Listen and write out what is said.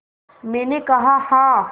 मैंने कहा हाँ